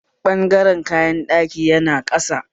Ɓangaren kayan ɗaki yana ƙasa